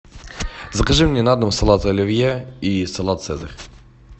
закажи мне на дом салат оливье и салат цезарь